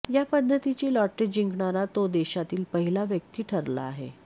या पद्धतीची लॉटरी जिंकणारा तो देशातील पहिला व्यक्ती ठरला आहे